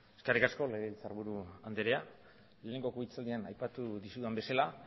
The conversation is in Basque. eskerrik asko legebiltzarburu andrea lehenengo partean aipatu dizudan bezala